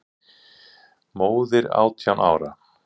Móðir átján ára?